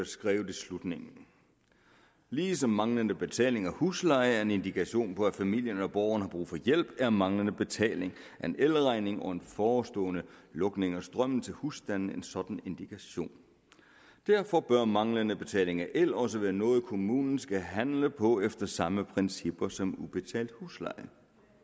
skrives i slutningen ligesom manglende betaling af husleje er en indikation på at familien eller borgeren har brug for hjælp er manglende betaling af en elregning og en forestående lukning af strømmen til husstanden en sådan indikation derfor bør manglende betaling af el også være noget kommunen skal handle på efter samme principper som ubetalt husleje